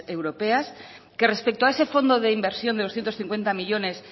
europeas que respecto a ese fondo de inversión de doscientos cincuenta millónes